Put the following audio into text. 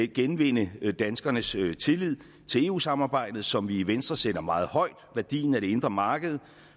genvinde danskernes tillid til eu samarbejdet som vi i venstre sætter meget højt værdien af det indre marked